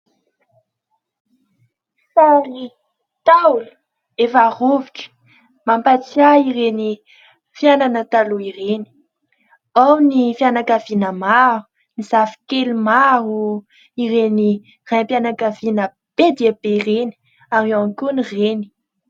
Sary ntaolo efa rovitra mampatsiahy ireny fiainana taloha ireny ; ao ny fianakaviana maro, ny zafikely maro, ireny raim-pianakaviana be dia be ireny ary eo ihany koa ny reny.